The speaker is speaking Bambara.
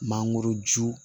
Mangoroju